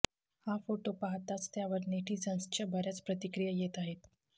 हा फोटो पाहताच त्यावर नेटिझन्सच्या बऱ्याच प्रतिक्रिया येत आहेत